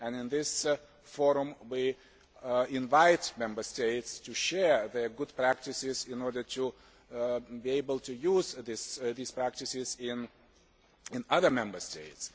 In this forum we invite Member States to share their good practices, in order to be able to use these practices in other Member States.